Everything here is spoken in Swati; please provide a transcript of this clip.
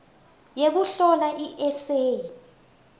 yekuhlola i eseyi